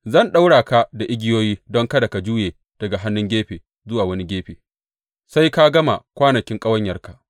Zan ɗaura ka da igiyoyi don kada ka juya daga wannan gefe zuwa wani gefe sai ka gama kwanakin ƙawanyarka.